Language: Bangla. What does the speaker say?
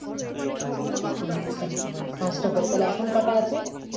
আচ্ছা পাঁচটা করে তাহলে এখন কটা আছে